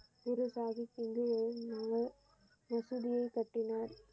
குரு சாகிப் ஜ மசூதியை கட்டினார்.